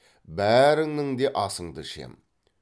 бәріңнің де асыңды ішем